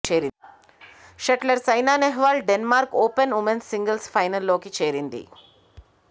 shuttler Saina Nehwal Denmark Open women singles ఫైనల్లోకి చేరింది